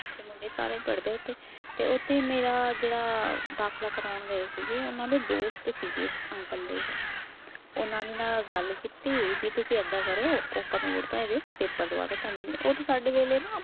ਤੇ ਮੁੰਡੇ ਸਾਰੇ ਪੜ੍ਹਦੇ ਆ ਉੱਥੇ ਤੇ ਉੱਥੇ ਮੇਰਾ ਜਿਹੜਾ ਦਾਖਲਾ ਕਰਵਾਉਣ ਗਏ ਸੀਗੇ ਉਹਨਾਂ ਦੇ ਦੋਸਤ ਸੀਗੇ ਅੰਕਲ ਦੇ ਉਹ ਉਹਨਾਂ ਦੇ ਨਾਲ ਗੱਲ ਕੀਤੀ ਵੀ ਤੁਸੀਂ ਏਦਾਂ ਕਰੋ open board ਤੋਂ ਇਹਦੇ ਪੇਪਰ ਦਵਾ ਦਓ ਪੰਜਵੀਂ ਦੇ ਉਦੋਂ ਸਾਡੇ ਵੇਲੇ ਨਾ